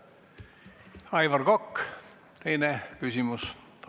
Aivar Kokk, teine küsimus, palun!